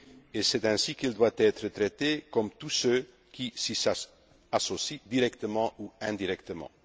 et c'est ainsi qu'il doit être traité comme tous ceux qui s'y associent directement ou indirectement.